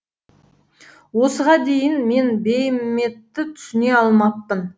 осыған дейін мен бейіметті түсіне алмаппын